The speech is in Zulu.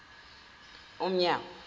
umnyango